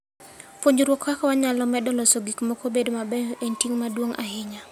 Puonjruok kaka wanyalo medo loso gik moko obed mabeyo en ting' maduong' ahinya.